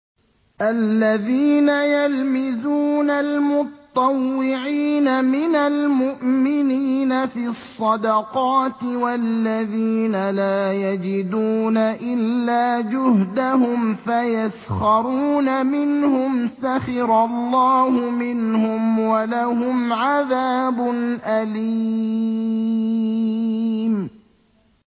الَّذِينَ يَلْمِزُونَ الْمُطَّوِّعِينَ مِنَ الْمُؤْمِنِينَ فِي الصَّدَقَاتِ وَالَّذِينَ لَا يَجِدُونَ إِلَّا جُهْدَهُمْ فَيَسْخَرُونَ مِنْهُمْ ۙ سَخِرَ اللَّهُ مِنْهُمْ وَلَهُمْ عَذَابٌ أَلِيمٌ